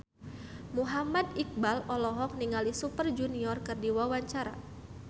Muhammad Iqbal olohok ningali Super Junior keur diwawancara